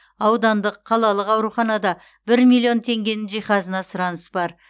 аудандық қалалық ауруханада бір миллион теңгенің жиһазына сұраныс бар